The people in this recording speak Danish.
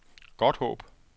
Godthåb